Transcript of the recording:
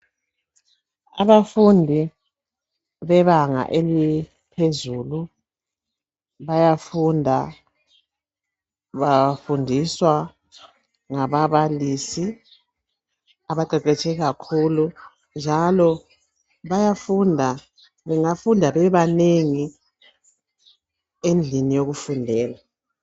Abafundi bebanga eliphezulu bayafunda. Bafundiswa ngababalisi abaqeqetshe kakhulu njalo bengafunda bebanengi endlini yokufundela